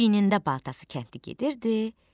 Çiyinində balta daşı kəndli gedirdi.